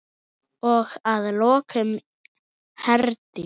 Og að lokum, Herdís.